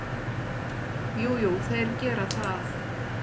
Jú, jú, þeir gera það.